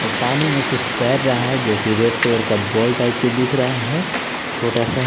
पानी में कुछ तैर रहा है जो कि रेड कलर का बॉल टाइप के दिख रहा है छोटा सा है।